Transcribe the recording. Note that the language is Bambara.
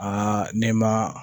ne ma